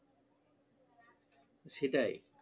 সেটাই